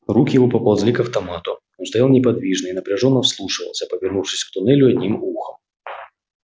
руки его поползли к автомату он стоял неподвижно и напряжённо вслушивался повернувшись к туннелю одним ухом